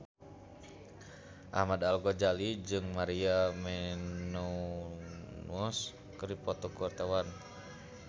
Ahmad Al-Ghazali jeung Maria Menounos keur dipoto ku wartawan